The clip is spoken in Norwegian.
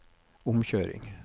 omkjøring